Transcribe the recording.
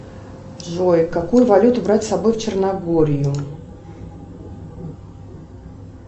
джой какую валюту брать с собой в черногорию